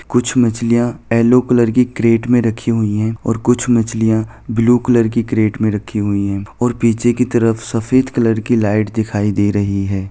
कुछ मछलिया yellow colour की केरेट में रखी हुई है और कुछ मछलिया ब्लू कलर की केरेट में रखी हुई हैं और पीछे की तरफ सफ़ेद कलर की लाइट दिखाई दे रही हैं।